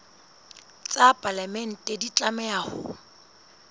tsa palamente di tlameha ho